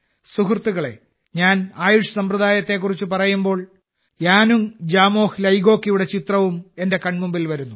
സുഹൃത്തുക്കളേ ഞാൻ ആയുഷ് സമ്പ്രദായത്തെക്കുറിച്ച് പറയുമ്പോൾ യാനുങ് ജമോഹ് ലാഗോവിന്റെ ചിത്രവും എന്റെ കൺമുന്നിൽ വരുന്നു